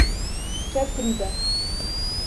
Če pride.